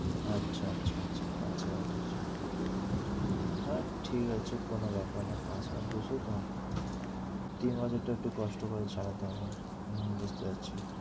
আচ্ছা আচ্ছা আচ্ছা, পাঁচ হাজার দু'শো। হ্যাঁ ঠিক আছে কোনো ব্যাপার না পাঁচ হাজার দু'শো তো? তিন মাসেরটা একটু কষ্ট করে চালাতে হবে। হম বুঝতে পারছি।